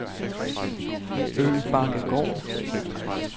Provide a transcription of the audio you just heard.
Øbakkegård